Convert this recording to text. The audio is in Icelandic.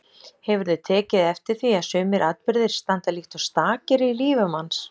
Hefurðu tekið eftir því að sumir atburðir standa líkt og stakir í lífi manns.